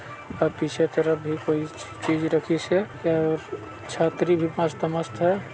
और पीछे तरफ भी कोई चीज रखी स हे छतरी भी मस्त-मस्त है।